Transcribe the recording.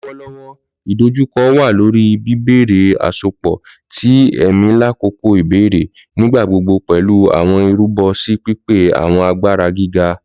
Lọwọlọwọ idojukọ wa lori bibẹrẹ asopọ ti ẹmi lakoko ibẹrẹ, nigbagbogbo pẹlu awọn irubo si pipe awọn agbara giga.